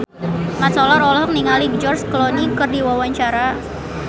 Mat Solar olohok ningali George Clooney keur diwawancara